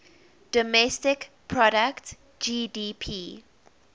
domestic product gdp